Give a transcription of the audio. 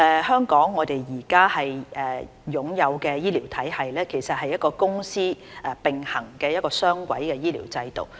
香港現在擁有的醫療體系其實是一個公私並行的雙軌醫療制度。